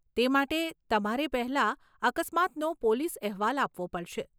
તે માટે, તમારે પહેલા અકસ્માતનો પોલીસ અહેવાલ આપવો પડશે.